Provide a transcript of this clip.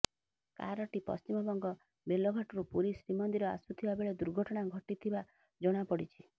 କାରଟି ପଶ୍ଚିମବଙ୍ଗ ବେଲଘାଟରୁ ପୁରୀ ଶ୍ରୀମନ୍ଦିର ଆସୁଥିବା ବେଳେ ଦୁର୍ଘଟଣା ଘଟିଥିବା ଜଣାପଡିଛି